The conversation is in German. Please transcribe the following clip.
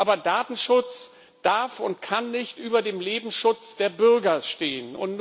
Aber Datenschutz darf und kann nicht über dem Lebensschutz der Bürger stehen.